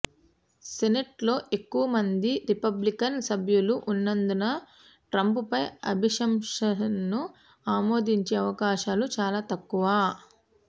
సెనెట్లో ఎక్కువమంది రిపబ్లికన్ సభ్యులు ఉన్నందున ట్రంప్పై అభిశంసనను ఆమోదించే అవకాశాలు చాలా తక్కువ